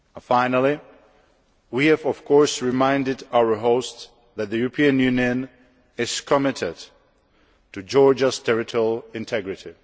Finally, we have of course reminded our hosts that the European Union is committed to Georgia's territorial integrity.